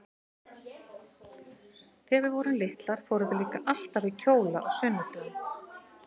Þegar við vorum litlar fórum við líka alltaf í kjóla á sunnudögum.